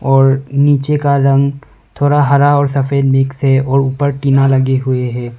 और नीचे का रंग थोरा हरा और सफेद मिक्स है और ऊपर की टीना लगे हुए हैं।